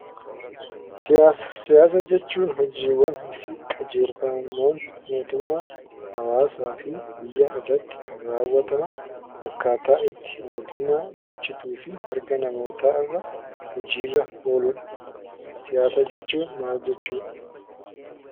Siyaasa. Siyaasa jechuun immoo hojiiwwani fi qajelfammoowwan mootummaa, hawaasa fi biyyaa irratti kan rawwataaman akkata itti mootummaan bulchuu fi mirgaa namoota irra oluudha. Siyaasa jechuunnmaal jechuudha?